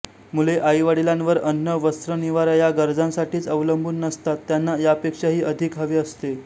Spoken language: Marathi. मुले आईवडीलांवर अन्न वस्त्र निवारा या गरजांसाठीच अवलंबून नसतात त्यांना यापेक्षाही अधिक हवे असते